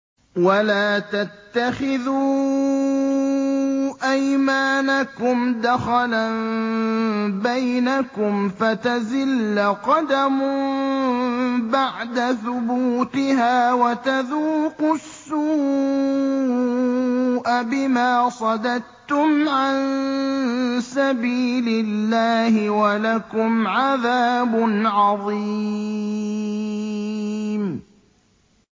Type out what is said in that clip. وَلَا تَتَّخِذُوا أَيْمَانَكُمْ دَخَلًا بَيْنَكُمْ فَتَزِلَّ قَدَمٌ بَعْدَ ثُبُوتِهَا وَتَذُوقُوا السُّوءَ بِمَا صَدَدتُّمْ عَن سَبِيلِ اللَّهِ ۖ وَلَكُمْ عَذَابٌ عَظِيمٌ